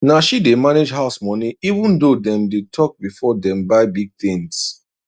na she dey manage house money even though dem dey talk before dem buy big things